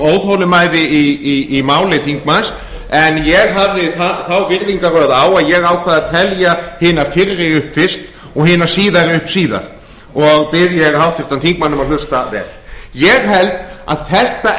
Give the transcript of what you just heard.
óþolinmæði í máli þingmanns en ég hafði þá virðingarröð á að ég ákvað að telja hina fyrr upp fyrst og hina síðari upp síðar og bið ég háttvirtan þingmann um að hlusta vel ég held að þetta